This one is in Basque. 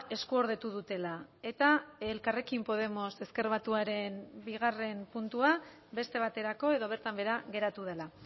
eskuordetu dutela eta elkarrekin podemos ezker batuaren bigarren puntua beste baterako edo bertan behera geratu dela